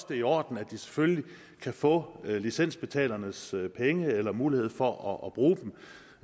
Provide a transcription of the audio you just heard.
det er i orden at de selvfølgelig kan få licensbetalernes penge eller mulighed for at bruge